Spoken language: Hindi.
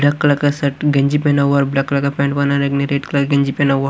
ब्लैक कलर का शर्ट और ब्लैक कलर की पैंट पहना हुआ --